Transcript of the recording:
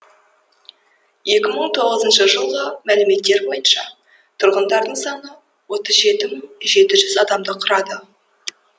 екі мың тоғызыншы жылғы мәліметтер бойынша тұрғындарының саны отыз жеті мың жет жүз адамды құрады